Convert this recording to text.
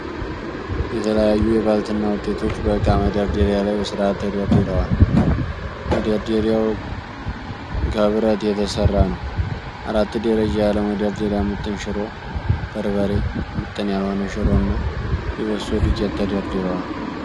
የተለያዩ የባልትና ዉጤቶች በእቃ መደርደሪያ ላይ በስርዓት ተደርድረዋል። መደርደሪያዉ ከብረት የተሰራ ነዉ። አራት ደረጃ ያለዉ መደርደሪያ ምጥን ሽሮ፣ በርበሬ ፣ ምጥን ያልሆነ ሽሮ እና የበሶ ዱቄት ተደርድረዋል።